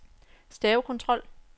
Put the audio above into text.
stavekontrol